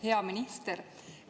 Hea minister!